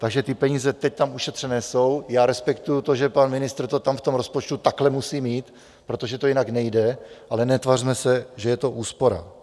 Takže ty peníze teď tam ušetřené jsou, já respektuji to, že pan ministr to tam v tom rozpočtu takhle musí mít, protože to jinak nejde, ale netvařme se, že je to úspora.